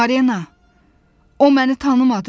"Marina, o məni tanımadı."